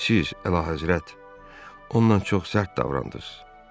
Siz, Əlahəzrət, ondan çox sərt davrandınız.